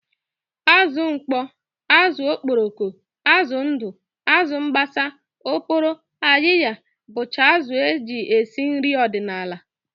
Azụ mkpọ, azụ okporoko, azụ ndụ, azụ mbasa, oporo, ayịya bụcha azụ e ji esi nri ọdịnala